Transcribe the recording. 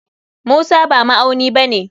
Musa ba ma'auni bane.